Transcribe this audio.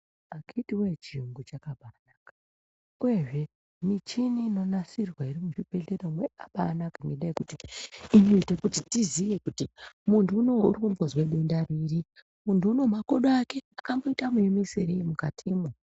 Akiti wee chiyungu chakabai naka uyezve michini ino nasirwa iri mu zvibhedhlera yakabai naka ngenda yekuti inoite kuti tiziye kuti muntu unowu uri kumbonzwe denda riri muntu unowu makodo ake akamboita mu emeserei mukatimwo.